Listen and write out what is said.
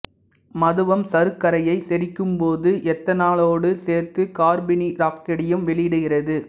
மதுவம் சருக்கரையை செரிக்கும் போது எத்தனாலோடு சேர்த்து கார்பனீராக்சைடையும் வெளியிடுகிறது